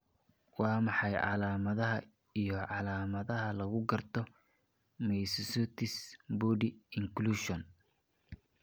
Waa maxay calaamadaha iyo calaamadaha lagu garto myositis body inclusion?